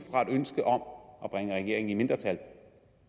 ønske om at bringe regeringen i mindretal